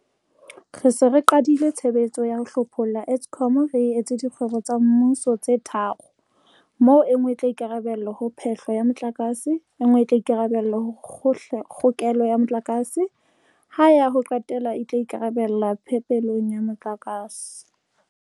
Re se re qadile tshebetso ya ho hlopholla Eskom re e etsa dikgwebo tsa mmuso tse tharo, moo e nngwe e tla ikarabella ho phe-hlo ya motlakase, e nngwe e tla ikarabella ho kgokelo ya motlakase, ha ya ho qetela e tla ikarabella phepelong ya motlakase.